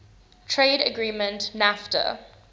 trade agreement nafta